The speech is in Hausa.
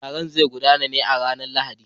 Taron zai gudana ne a ranar Lahadi.